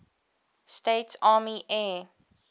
states army air